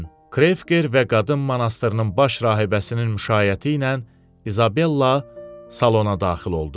Krefker və Qadın monastırının baş rahibəsinin müşayiəti ilə İzabella salona daxil oldu.